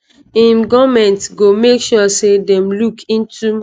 im goment go make sure say dem look into.